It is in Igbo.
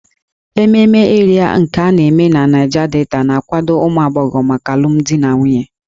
Ememe Ịrịa nke a na-eme na Niger Delta na-akwado ụmụ agbọghọ maka alụmdi na nwunye